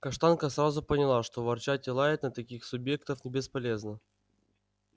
каштанка сразу поняла что ворчать и лаять на таких субъектов бесполезно